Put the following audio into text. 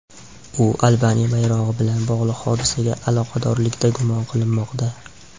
U Albaniya bayrog‘i bilan bog‘liq hodisaga aloqadorlikda gumon qilinmoqda.